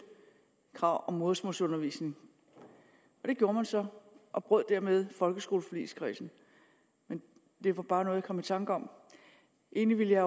krav om modersmålsundervisning det gjorde man så og brød dermed folkeskoleforligskredsen det var bare noget jeg kom i tanker om egentlig ville